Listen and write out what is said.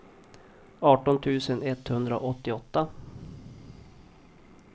arton tusen etthundraåttioåtta